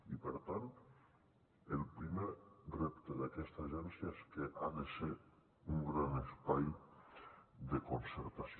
i per tant el primer repte d’aquesta agència és que ha de ser un gran espai de concertació